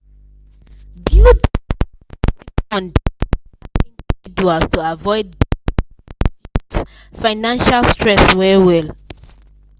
building emergency fund dey allow individuals to avoid debt and reduce financial stress well well.